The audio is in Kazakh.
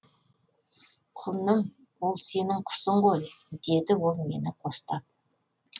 құлыным ол сенің құсың ғой деді ол мені қостап